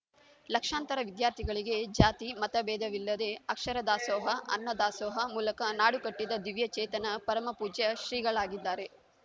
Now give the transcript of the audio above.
ಲಕ್ಷಾಂತರ ವಿದ್ಯಾರ್ಥಿಗಳಿಗೆ ಜಾತಿ ಮತ ಬೇಧವಿಲ್ಲದೇ ಅಕ್ಷರ ದಾಸೋಹ ಅನ್ನ ದಾಸೋಹ ಮೂಲಕ ನಾಡುಕಟ್ಟಿದ ದಿವ್ಯ ಚೇತನ ಪರಮಪೂಜ್ಯ ಶ್ರೀಗಳಾಗಿದ್ದಾರೆ